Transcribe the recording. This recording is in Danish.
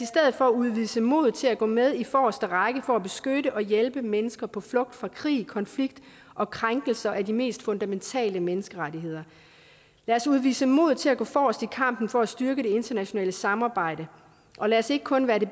for udvise mod til at gå med i forreste række for at beskytte og hjælpe mennesker på flugt fra krig konflikt og krænkelser af de mest fundamentale menneskerettigheder lad os udvise mod til at gå forrest i kampen for at styrke det internationale samarbejde og lad os ikke kun være det